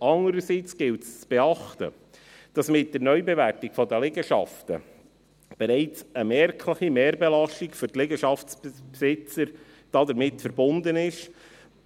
Demgegenüber gilt es zu beachten, dass mit der Neubewertung der Liegenschaften bereits eine merkliche Mehrbelastung für die Liegenschaftsbesitzer damit verbunden ist,